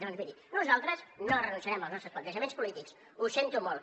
doncs miri nosaltres no renunciarem als nostres plantejaments polítics ho sento molt